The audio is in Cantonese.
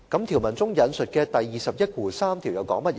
條文中引述的第213條又說甚麼呢？